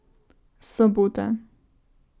Sobota.